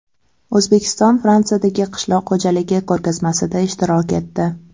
O‘zbekiston Fransiyadagi qishloq xo‘jaligi ko‘rgazmasida ishtirok etdi.